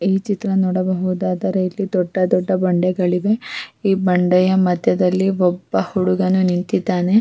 ಮತ್ತೆ ಆಮೇಲೆ ಕೂಡ ಫ್ಯಾಮಿಲಿ ಟ್ರಿಪ್ ಅಂತ ಎಲ್ಲ ಹೋಗ್ತಾ ಇದ್ವಿ --